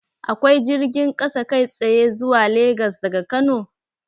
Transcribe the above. Akwai jirgin kasa kai tsaye zuwa Legas daga Kano?